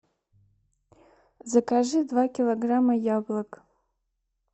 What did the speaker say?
закажи два килограмма яблок